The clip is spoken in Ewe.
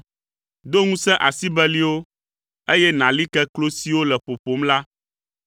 Do ŋusẽ asi beliwo, eye nàli ke klo siwo le ƒoƒom la;